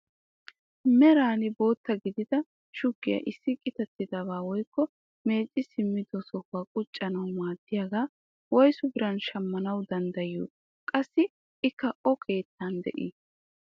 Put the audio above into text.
Meran bootta gidida shuggiyaa issi qittatidabaa woykko mecci simmido sohuwaa quccanawu maaddiyaagaa woysu biran shammanawu danddayiyoo? qassii ikka o keettan de'ii?